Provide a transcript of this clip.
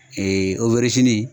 Ee owɛrizini